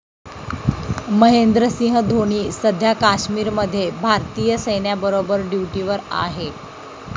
महेंद्रसिंह धोनी सध्या काश्मीरमध्ये भारतीय सैन्याबरोबर ड्युटीवर आहे.